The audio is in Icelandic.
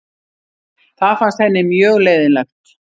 Það fannst henni mjög leiðinlegt.